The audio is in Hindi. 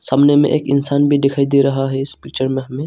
सामने में एक इंसान भी दिखाई दे रहा है इस पिक्चर में हमें।